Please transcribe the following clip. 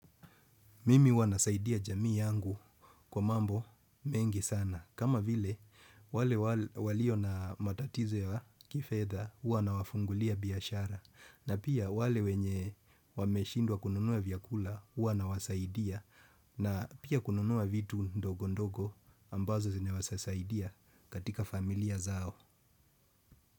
Mimi huwanasaidia jamii yangu kwa mambo mengi sana. Kama vile, wale walio na matatizo ya kifedha, huwa nawafungulia biashara. Na pia wale wenye wameshindwa kununua vyakula, huwa nawasaidia. Na pia kununua vitu ndogo ndogo ambazo zinawezasaidia katika familia zao.